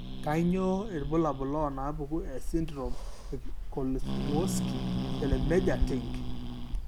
Kainyio irbulabul onaapuku esindirom eKozlowski Celermajer Tink?